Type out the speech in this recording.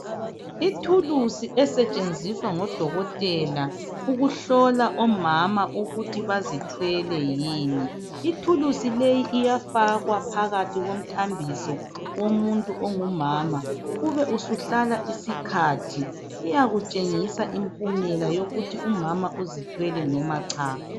Ithulusi esetshenziswa ngodokotela ukuhlola omama ukuthi bazithwele yini. Ithulusi leyi iyafakwa phakathi komthambiso womuntu ongomama, ubesuhlala isikhathi! Iyakutshengisa impumela yokuthi umama uzithwele noma cha!